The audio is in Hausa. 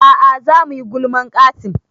A'a za muyi gulman Qassim